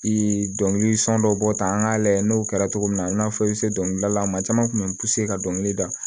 Ee dɔnkili sɔn dɔ bɔ ta an ka layɛ n'o kɛra togo min na i n'a fɔ i bɛ se dɔnkilidala maa caman kun bɛ ka dɔnkili da